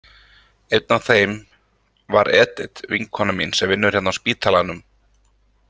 Einn af þeim var Edit vinkona mín sem vinnur hérna á spítalanum.